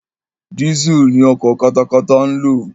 Diesel ni ọkọ̀ katakata ń lò.